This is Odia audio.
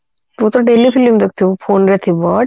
ତୁ ତ daily film ଦେଖୁଥିବୁ phone ରେ ଥିବ